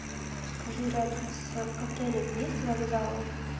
скажи рядом с отелем есть вокзалы